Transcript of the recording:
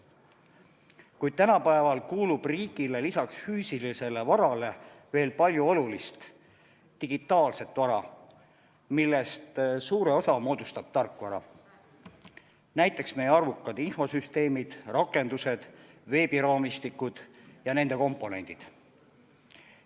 Kuid tänapäeval kuulub riigile lisaks füüsilisele varale veel palju olulist digitaalset vara, millest suure osa moodustab tarkvara, näiteks meie arvukad infosüsteemid, rakendused, veebiraamistikud ja nende komponendid.